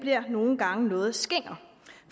nogle gange noget skinger